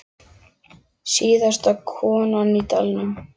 Síðasta konan í dalnum